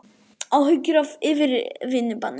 Áhyggjur af yfirvinnubanni